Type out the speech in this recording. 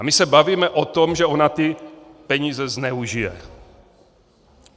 A my se bavíme o tom, že ona ty peníze zneužije.